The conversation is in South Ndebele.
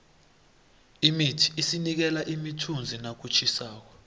imithi isinikela imithunzi nakutjhisako